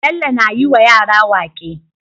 Bello na yi wa yara waƙe